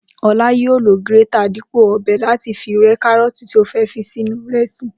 O̩lá yóò lo gírétà dípò ò̩be̩̩ láti fi re̩ káró̩ò̩tì tí ó fé̩ fi sínú ìre̩sì